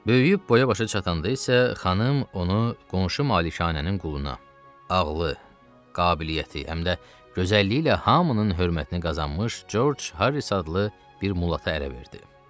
Böyüyüb boya-başa çatanda isə xanım onu qonşu malikanənin quluna, ağlı, qabiliyyəti, həm də gözəlliyi ilə hamının hörmətini qazanmış George Harris adlı bir mulata ərə verdi.